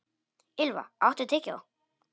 Ylva, áttu tyggjó?